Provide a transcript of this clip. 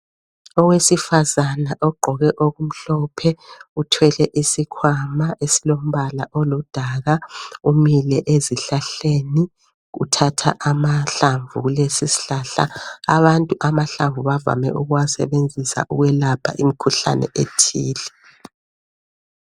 Owesifazana ogqoke okumhlophe uthwele isikhwama esilombala oludaka umile esihlahleni uthatha amahlamvu kulesisihlahla. Abantu amahlamvu bavame ukuwasebenzisa ukwelapha imikhuhlane ethile